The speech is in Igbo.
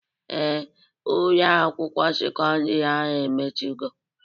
Ee, Ụlọ akwụkwọ sekọndrị ahụ emechigo